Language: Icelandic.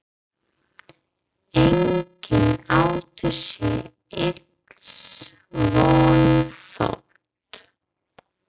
Enginn átti sér ills von, þótt